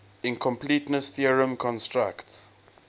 incompleteness theorem constructs